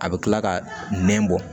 A bɛ kila ka nɛn bɔ